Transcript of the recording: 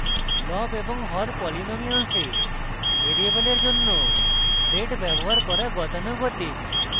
লব এবং হর polynomials ভ্যারিয়েবলের জন্য z ব্যবহার করা গতানুগতিক